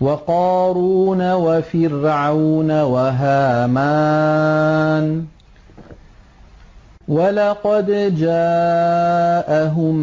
وَقَارُونَ وَفِرْعَوْنَ وَهَامَانَ ۖ وَلَقَدْ جَاءَهُم